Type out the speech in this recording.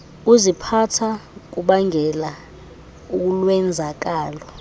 kuziphatha kubangela ulwenzakalo